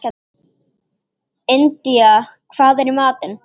Indía, hvað er í matinn?